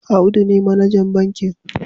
Audu ne manajan bankin